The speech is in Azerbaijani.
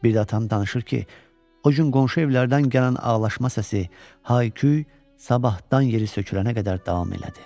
Bir də atam danışır ki, o gün qonşu evlərdən gələn ağlaşma səsi, hay-küy sabahdan yeri sökülənə qədər davam elədi.